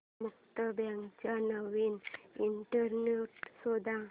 मुक्ता बर्वेचा नवीन इंटरव्ह्यु शोध